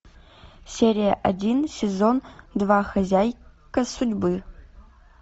серия один сезон два хозяйка судьбы